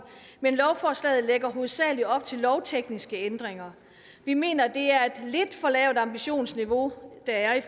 men lovforslaget lægger hovedsagelig op til lovtekniske ændringer vi mener at det er lidt for lavt ambitionsniveau der er i